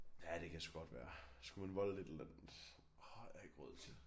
Ja det kan sgu godt være skulle man volde et eller andet har jeg ikke råd til